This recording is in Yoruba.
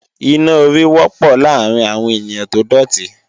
Iná orí wọ́pọ̀ láàárín àwọn ènìyàn tó dòtí